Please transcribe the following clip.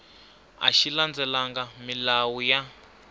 a xi landzelelangi milawu ya